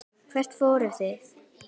Hvert förum við?